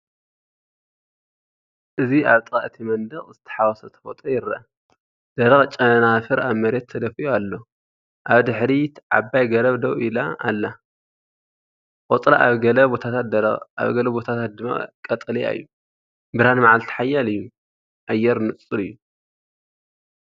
እዚ ኣብ ጥቓ እቲ መንደቕ ዝተሓዋወሰ ተፈጥሮ ይርአ፣ ደረቕ ጨናፍር ኣብ መሬት ተደፊኡ ኣሎ። ኣብ ድሕሪት ዓባይ ገረብ ደው ኢላ ኣላ፣ ቆጽላ ኣብ ገለ ቦታታት ደረቕ ኣብ ገለ ቦታታት ድማ ቀጠልያ እዩ። ብርሃን መዓልቲ ሓያል'ዩ፡ኣየር ንጹር'ዩ።